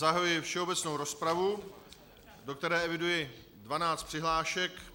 Zahajuji všeobecnou rozpravu, do které eviduji dvanáct přihlášek.